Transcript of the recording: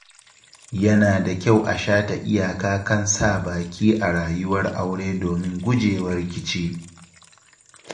Yana da kyau a shata iyaka kan sa baki a rayuwar aure domin gujewa rikici.